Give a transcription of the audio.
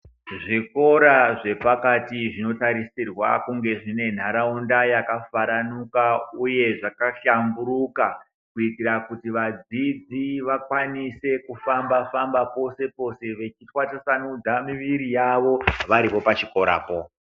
Zvikora zvepakati zvinotarisirwa kunge zvinenharawunda yakafaranuka, uye zvakahlamburuka, kuyitira kuti vadzidzi vakwanise kufamba famba , pose pose vechithwasusanudza miviri yavo, variyo pachikorapo.